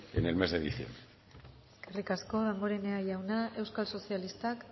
en el mes de diciembre eskerrik asko damborenea jauna euskal sozialistak